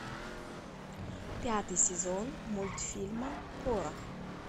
пятый сезон мультфильма порох